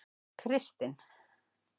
Kristin